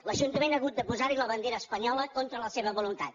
l’ajuntament ha hagut de posar hi la bandera espanyola contra la seva voluntat